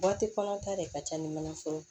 kɔnɔ ta de ka ca ni manaforo ye